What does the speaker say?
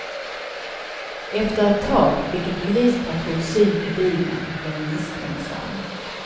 Efter ett tag fick en polispatrull syn på bilen och blev misstänksam.